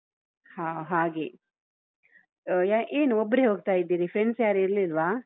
ಹಾ ಹಾಗೆ ಅಹ್ ಏನು ಒಬ್ರೇ ಹೋಗ್ತಾ ಇದ್ದೀರಿ friends ಯಾರೂ ಇರ್ಲಿಲ್ವಾ?